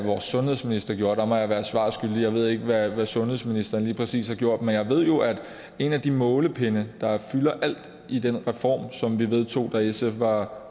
vores sundhedsminister gjorde må jeg være svar skyldig jeg ved ikke hvad sundhedsministeren lige præcis har gjort men jeg ved jo at en af de målepinde der fylder alt i den reform som vi vedtog da sf var